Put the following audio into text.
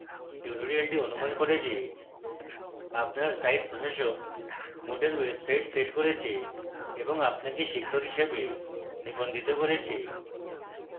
tutorial অনুমান করে যে: